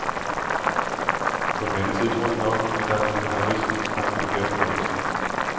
På den anden side tror jeg nok, at det er nogle karakteristiske træk ved hvert folkeslag.